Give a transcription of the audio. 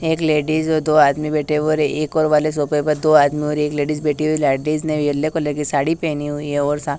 एक लेडिस और दो आदमी बैठे हुए और एक और वाले सोफे पर दो आदमी और एक लेडिस बैठी हुई लेडिस येलो कलर की साड़ी पहनी हुई है और सा --